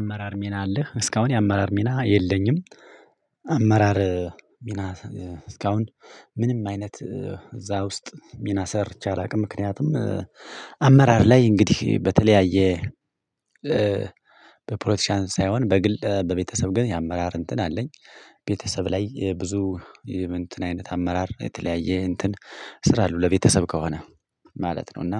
አመራር ሚና አለህ እስካሁን የአመራር ሚና የለኝም። አመራር ሚና እስካሁን ምንም አይነት እዛ ውስጥ ሚናሰር ቻላቅ ምክንያቱም አመራር ላይ እንግዲህ በተለያየ በፖለቲሻን ሳይሆን በግል በቤተሰብ ግን የአመራር እንትን አለኝ። ቤተሰብ ላይ ብዙ እንትን አይነት አመራር የተለያየ እንትን ስራ አለው ለቤተሰብ ከሆነ ማለት ነው። እና